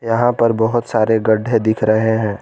यहां पर बहुत सारे गड्ढे दिख रहे हैं।